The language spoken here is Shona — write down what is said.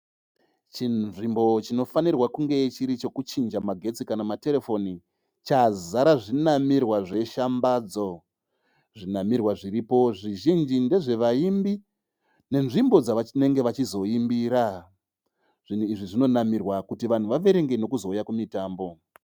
Chinzvimbo chinofanirwa kunge chiri chekuchinja magetsi kana materefoni, chazara zvinamirwa zve shambadzo, zvinamirwa zviripo zvizhinji ndezvevaimbi nenzvimbo dzavachinenge vachizoimbira, zvinhu izvi zvinonamirwa kuti vanhu vaverenge vachizouya kumutambo.